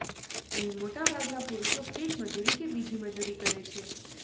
અહીં મોટા ભાગના પુરુષો ખેતમજૂરી કે બીજી મજૂરી કરે છે